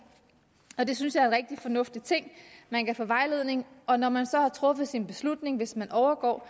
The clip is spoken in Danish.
og det synes jeg rigtig fornuftig ting man kan få vejledning og når man så har truffet sin beslutning hvis man overgår